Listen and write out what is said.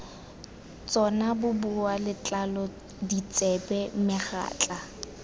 tsona boboa letlalo ditsebe megatla